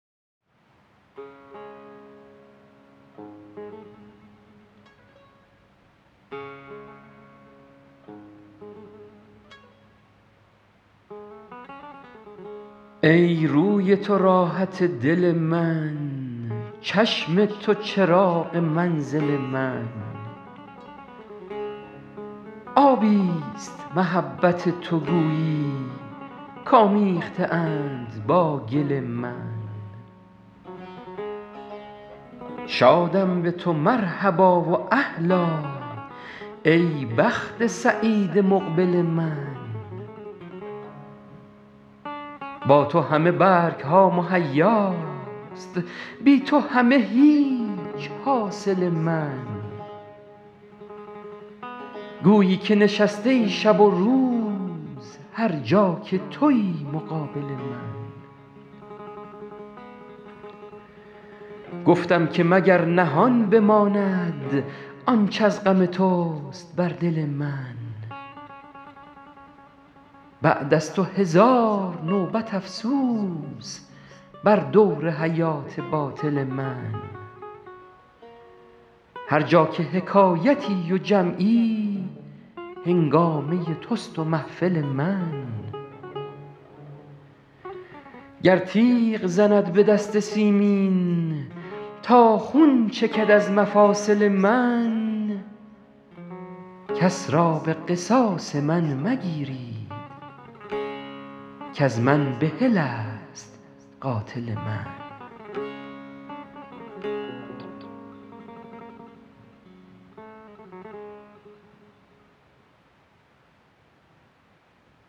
ای روی تو راحت دل من چشم تو چراغ منزل من آبی ست محبت تو گویی کآمیخته اند با گل من شادم به تو مرحبا و اهلا ای بخت سعید مقبل من با تو همه برگ ها مهیاست بی تو همه هیچ حاصل من گویی که نشسته ای شب و روز هر جا که تویی مقابل من گفتم که مگر نهان بماند آنچ از غم توست بر دل من بعد از تو هزار نوبت افسوس بر دور حیات باطل من هر جا که حکایتی و جمعی هنگامه توست و محفل من گر تیغ زند به دست سیمین تا خون چکد از مفاصل من کس را به قصاص من مگیرید کز من بحل است قاتل من